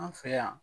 An fɛ yan